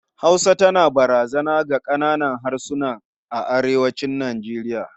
Hausa tana barazana ga ƙananan harsuna a arewacin Nijeriya.